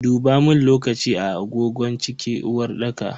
Dubamun lokaci a agogon cikin uwarɗaka.